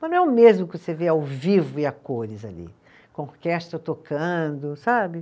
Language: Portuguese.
Mas não é o mesmo que você ver ao vivo e a cores ali, com a orquestra tocando, sabe?